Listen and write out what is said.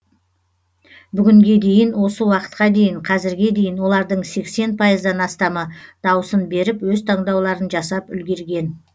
бүгінге дейін осы уақытқа дейін қазірге дейін олардың сексен пайыздан астамы даусын беріп өз таңдауларын жасап үлгерген